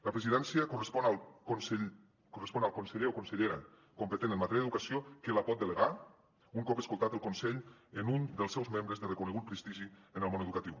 la presidència correspon al conseller o consellera competent en matèria d’educació que la pot delegar un cop escoltat el consell en un dels seus membres de reconegut prestigi en el món educatiu